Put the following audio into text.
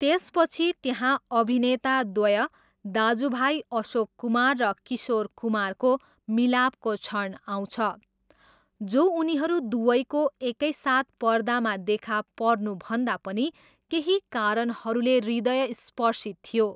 त्यसपछि त्यहाँ अभिनेताद्वय दाजुभाइ अशोक कुमार र किशोर कुमारको मिलापको क्षण आउँछ, जो उनीहरू दुवैको एकै साथ पर्दामा देखा पर्नुभन्दा पनि केही कारणहरूले हृदयस्पर्शी थियो।